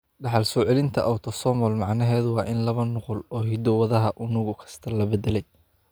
Dhaxal-soo-celinta autosomal macnaheedu waa in laba nuqul oo hiddo-wadaha unug kasta la beddelay.